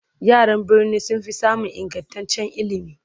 yaran birni sunfi samun ingantaccen ilimi